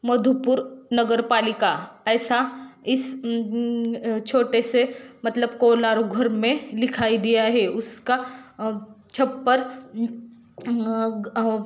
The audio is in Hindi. मधुपुर नगरपालिका ऐसा इस छोटे से मतलब कोलार घर में दिखाई दिया है उसका छप्पर--